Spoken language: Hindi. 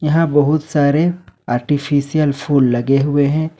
यहां बहुत सारे आर्टिफिशियल फूल लगे हुए हैं।